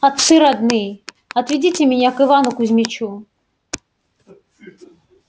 отцы родные отведите меня к ивану кузмичу